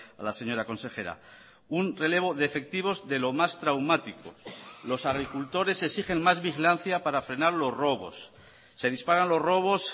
a la señora consejera un relevo de efectivos de lo más traumático los agricultores exigen más vigilancia para frenar los robos se disparan los robos